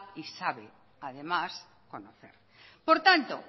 y sabe además conocer por tanto